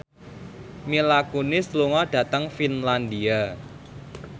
Mila Kunis lunga dhateng Finlandia